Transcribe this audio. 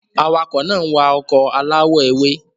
Awakọ̀ náà ń wa ọkọ̀ aláwọ̀ ewé.